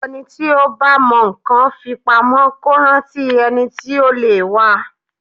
Ẹni tí ó bá mọ nǹkan fi pamọ́ kó rántí ẹni tí ó lè wa.